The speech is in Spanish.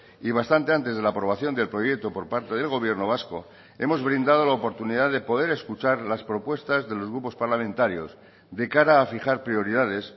y bastante antes de la aprobación del proyecto por parte del gobierno vasco hemos brindado la oportunidad de poder escuchar las propuestas de los grupos parlamentarios de cara a fijar prioridades